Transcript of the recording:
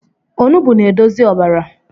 Ọnụgbụ na-edozi ọbara